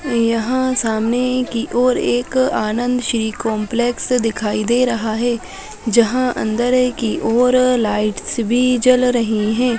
यहाँ सामने की ओर एक आनंद श्री कॉम्पलेस दिखाई दे रहा है जहां अंदर की ओर लाइट्स भी जल रही है।